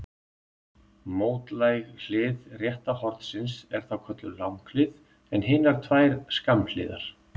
Mótlæg hlið rétta hornsins er þá kölluð langhlið en hinar tvær skammhliðar.